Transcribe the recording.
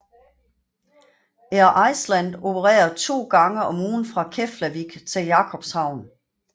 Air Iceland opererer to gange om ugen fra Keflavík til Jakobshavn